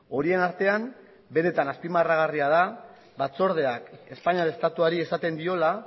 horien artean benetan azpimarragarria da batzordeak espainiar estatuari esaten diola